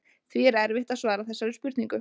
Því er erfitt að svara þessari spurningu.